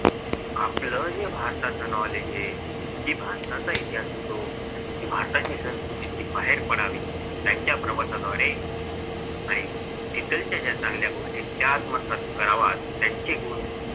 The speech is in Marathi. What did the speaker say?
आपलं जे भारताचं knowledge आहे. जे भारताचा इतिहास येतो जी भारताची संस्कृती बाहेर पडावी त्यांच्या प्रवासाद्वारे आणि तिकडच्या ज्या चांगल्या गोष्टी आहेत त्या आत्मसाथ कराव्यात त्यांचे गुण